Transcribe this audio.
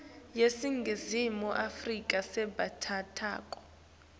yaseningizimu afrika lesebentako